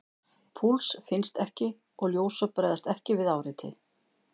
Púls finnst ekki og ljósop bregðast ekki við áreiti.